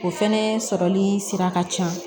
O fɛnɛ sɔrɔli sira ka ca